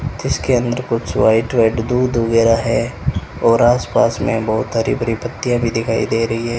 इसके अंदर कुछ व्हाइट व्हाइट दूध वगैरा है और आस पास में बहुत हरी भरी पत्तियां भी दिखाई दे रही है।